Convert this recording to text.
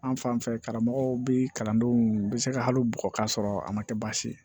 An fan fɛ karamɔgɔw bi kalandenw bɛ se ka hali bugɔ ka sɔrɔ a ma kɛ baasi ye